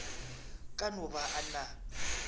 ka no ba a na